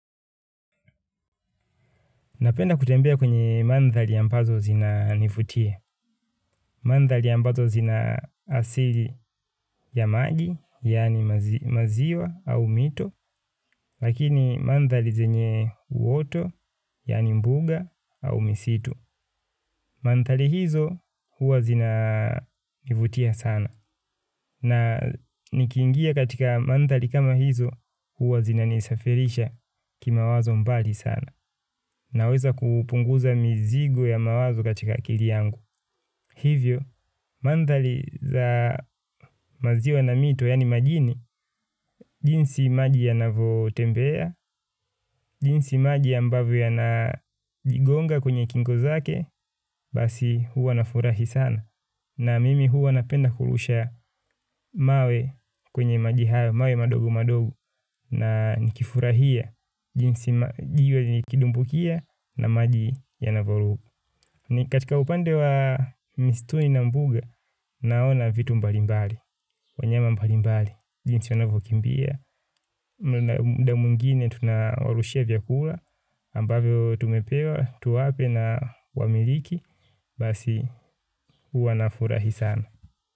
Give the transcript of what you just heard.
Napenda kutembea kwenye mandhari ambazo zinanivutia. Mandhari ambazo zina asili ya maji, yaani maziwa au mito, lakini mandhari zenye uoto, yaani mbuga au misitu. Mandhari hizo huwa zinanivutia sana. Na nikiingia katika mandhari kama hizo huwa zinanisafirisha kimawazo mbali sana. Naweza kupunguza mizigo ya mawazo katika akili yangu. Hivyo, mandhari za maziwa na mito yaani majini jinsi maji yanavotembea jinsi maji ambavyo yanajigonga kwenye kingo zake basi huwa nafurahi sana. Na mimi huwa napenda kurusha mawe kwenye maji hayo mawe madogo madogo na nikifurahia jinsi jiwe likidumbukia na maji yanavyoruka. Ni katika upande wa mistuni na mbuga, naona vitu mbalimbali, wanyama mbalimbali, jinsi wanavokimbia, mda mwingine tunawarushia vyakula ambavyo tumepewa, tuwape na wamiliki, basi huwa nafurahi sana.